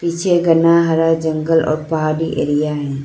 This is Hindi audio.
पीछे घना हरा जंगल और पहाड़ी एरिया है।